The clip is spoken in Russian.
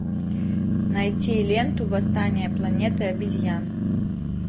найти ленту восстание планеты обезьян